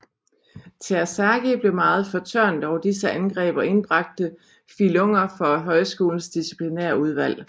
Terzaghi blev meget fortørnet over disse angreb og indbragte Fillunger for højskolens disciplinærudvalg